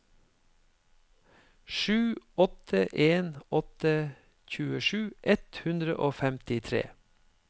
sju åtte en åtte tjuesju ett hundre og femtitre